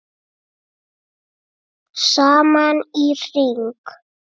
Saman í hring